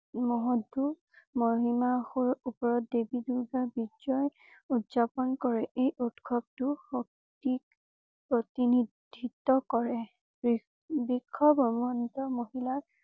মসত্ত মহিসাসুৰ উপৰত দেৱী দুৰ্গা বিজয় উদযাপন কৰে। এই উৎসৱটো শক্তিক প্ৰতিনিধিত্ব কৰে। মহিলা